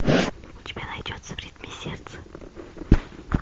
у тебя найдется в ритме сердца